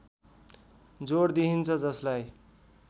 जोड दिइन्छ जसलाई